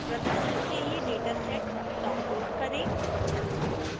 प्रदर्शन के लिए dataset डाउनलोड़ करें